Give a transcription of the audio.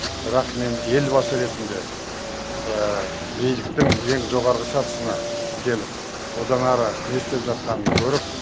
бірақ мен елбасы ретінде биліктің ең жоғарғы сатысына келіп одан әрі не істеп жатқанын көріп